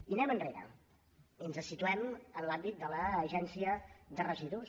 i anem enrere i ens situem en l’àmbit de l’agència de residus